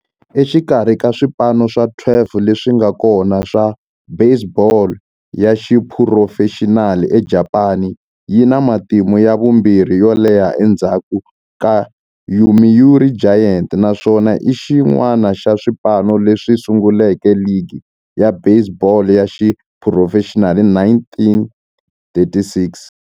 Exikarhi ka swipano swa 12 leswi nga kona swa baseball ya xiphurofexinali eJapani, yi na matimu ya vumbirhi yo leha endzhaku ka Yomiuri Giants, naswona i xin'wana xa swipano leswi sunguleke ligi ya baseball ya xiphurofexinali hi 1936.